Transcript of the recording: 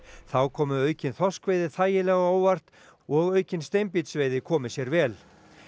þá komi aukinn þorskkvóti þægilega á óvart og aukin steinbítsveiði komi sér vel